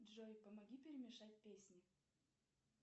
джой помоги перемешать песни